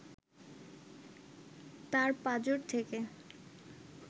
তার পাঁজর থেকে